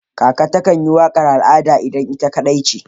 Kaka takan yi waƙar al'ada idan ita kaɗai ce